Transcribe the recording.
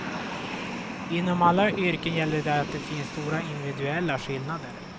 Inom alla yrken gäller det att det finns stora individuella skillnader.